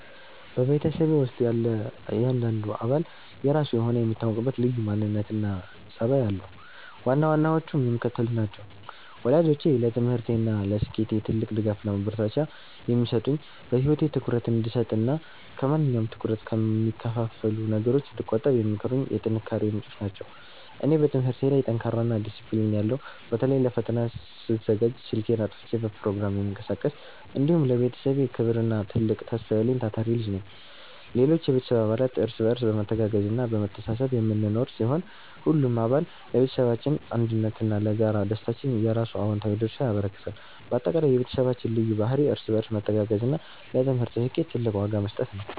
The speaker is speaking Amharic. በቤተሰቤ ውስጥ ያለ እያንዳንዱ አባል የራሱ የሆነ የሚታወቅበት ልዩ ማንነትና ጠባይ አለው፤ ዋና ዋናዎቹም የሚከተሉት ናቸው፦ ወላጆቼ፦ ለትምህርቴና ለስኬቴ ትልቅ ድጋፍና ማበረታቻ የሚሰጡኝ፣ በህይወቴ ትኩረት እንድሰጥና ከማንኛውም ትኩረት ከሚከፋፍሉ ነገሮች እንድቆጠብ የሚመክሩኝ የጥንካሬዬ ምንጮች ናቸው። እኔ፦ በትምህርቴ ላይ ጠንካራና ዲሲፕሊን ያለው (በተለይ ለፈተና ስዘጋጅ ስልኬን አጥፍቼ በፕሮግራም የምቀሳቀስ)፣ እንዲሁም ለቤተሰቤ ክብርና ትልቅ ተስፋ ያለኝ ታታሪ ልጅ ነኝ። ሌሎች የቤተሰብ አባላት፦ እርስ በርስ በመተጋገዝና በመተሳሰብ የምንኖር ሲሆን፣ ሁሉም አባል ለቤተሰባችን አንድነትና ለጋራ ደስታችን የየራሱን አዎንታዊ ድርሻ ያበረክታል። ባጠቃላይ፣ የቤተሰባችን ልዩ ባህሪ እርስ በርስ መተጋገዝና ለትምህርት ስኬት ትልቅ ዋጋ መስጠት ነው።